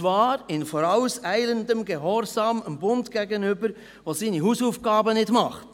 Dies zwar in vorauseilendem Gehorsam dem Bund gegenüber, der seine Hausaufgaben nicht macht.